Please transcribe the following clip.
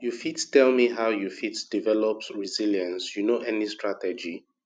you fit tell me how you fit develop resilience you know any strategy